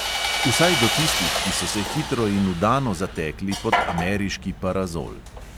Vsaj do tistih, ki so se hitro in vdano zatekli pod ameriški parazol.